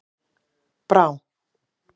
Brá